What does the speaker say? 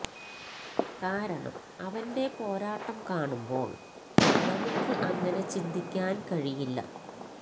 കാരണം അവന്റെ പോരാട്ടം കാണുമ്പോള് നമുക്ക് അങ്ങനെ ചിന്തിക്കാന് കഴിയില്ല